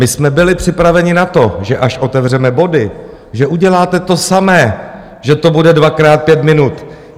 My jsme byli připraveni na to, že až otevřeme body, že uděláte to samé, že to bude dvakrát pět minut.